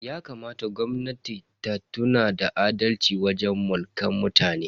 Yakamata gwamnatin ta nuna adalci wajen Mulkan mutane.